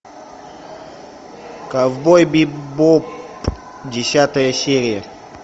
ковбой бибоп десятая серия